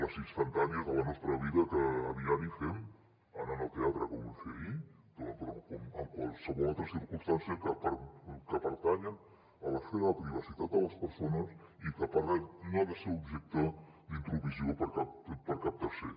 les instantànies de la nostra vida que a diari fem anant al teatre com vam fer ahir però en qualsevol altra circumstància que pertanyen a l’esfera de la privacitat de les persones i que per re no ha de ser objecte d’intromissió per cap tercer